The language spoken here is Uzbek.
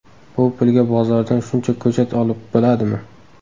Bu pulga bozordan shuncha ko‘chat olib bo‘ladimi?